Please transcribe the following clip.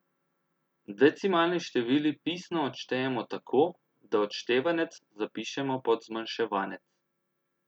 Decimalni števili pisno odštejemo tako, da odštevanec zapišemo pod zmanjševanec.